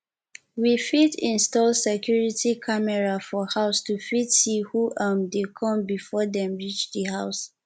we fit install security camera for house to fit see who um dey come before dem reach di house